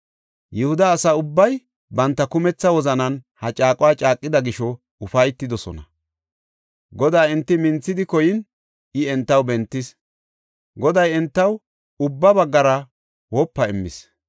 Yihuda asa ubbay banta kumetha wozanan ha caaquwa caaqida gisho ufaytidosona. Godaa enti minthidi koyin I entaw bentis. Goday entaw ubba baggara wopa immis.